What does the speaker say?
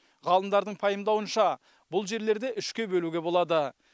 ғалымдардың пайымдауынша бұл жерлерді үшке бөлуге болады